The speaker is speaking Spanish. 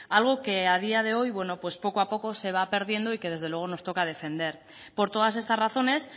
algo que a día de hoy bueno pues poco a poco se va perdiendo y que desde luego nos toca defender por todas estas razones